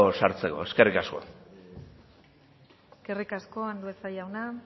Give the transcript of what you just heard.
sartzeko eskerrik asko eskerrik asko andueza jauna